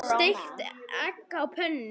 Steikti egg á pönnu.